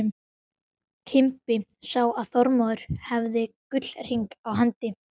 Einstaka einmana munkur þræddi þögull stíginn að kofa sínum.